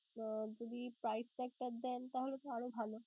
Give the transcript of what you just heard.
যদি price tag টা দেন তাহলে তো আরও ভালো.